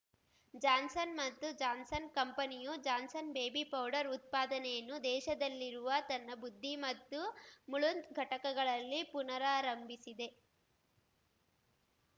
Johnson ಮತ್ತು Johnson ಕಂಪನಿಯು Johnson's baby powder ಉತ್ಪಾದನೆಯನ್ನು ದೇಶದಲ್ಲಿರುವ ತನ್ನ ಬುದ್ದಿ ಮತ್ತು ಮುಳುಂದ್ ಘಟಕಗಳಲ್ಲಿ ಪುನರಾರಂಭಿಸಿದೆ